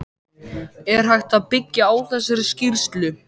Er hægt að byggja á þessari skýrslu?